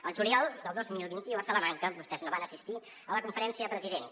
el juliol del dos mil vint u a salamanca vostès no van assistir a la conferència de presidents